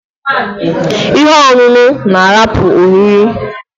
Ihe ọṅụṅụ na-ahapụ oriri!